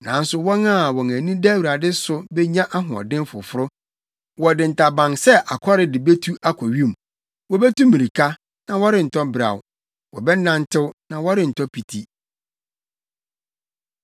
Nanso, wɔn a wɔn ani da Awurade so benya ahoɔden foforo. Wɔde ntaban sɛ akɔre de betu akɔ wim; wobetu mmirika, na wɔrentɔ beraw. Wɔbɛnantew, na wɔrentɔ piti.